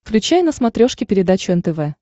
включай на смотрешке передачу нтв